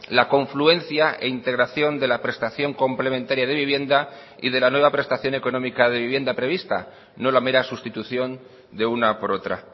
la confluencia e integración de la prestación complementaria de vivienda y de la nueva prestación económica de vivienda prevista no la mera sustitución de una por otra